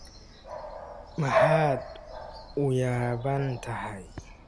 Maxaad u yaabban tahay?